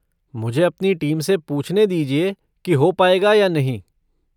मुझे अपनी टीम से पूछने दीजिए कि हो पाएगा या नहीं।